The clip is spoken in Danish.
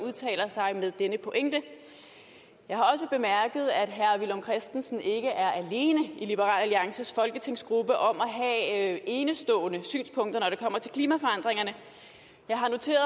udtalt sig med denne pointe jeg har også bemærket at herre villum christensen ikke er alene i liberal alliances folketingsgruppe om at have enestående synspunkter når det kommer til klimaforandringerne jeg har noteret